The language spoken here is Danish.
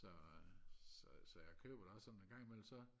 så så så jeg køber da også sådan så en gang i mellem så